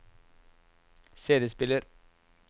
CD-spiller